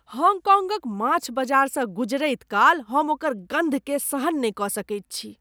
हॉन्गकॉन्गक माछ बाजारसँ गुजरैत काल हम ओकर गन्धकेँ सहन नहि कऽ सकैत छी।